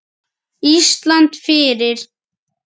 Ísland fyrir